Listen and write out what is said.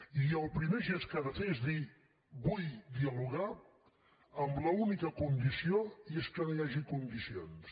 i el primer gest que ha de fer és dir vull dialogar amb l’única condició i és que no hi hagi condicions